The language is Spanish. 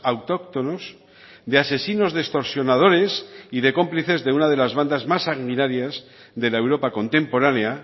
autóctonos de asesinos de extorsionadores y de cómplices de una de las bandas más sanguinaria de la europa contemporánea